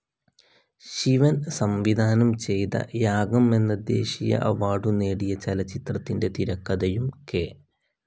ശിവൻ സംവിധാനം ചെയ്‌ത യാഗം എന്ന ദേശീയ അവാർഡു നേടിയ ചലച്ചിത്രത്തിന്റെ തിരക്കഥയും കെ.